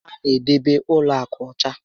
A na edebe ụlọ akụ ọcha